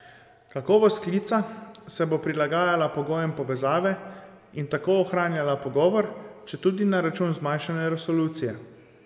Kakovost klica se bo prilagajala pogojem povezave in tako ohranjala pogovor, četudi na račun zmanjšane resolucije.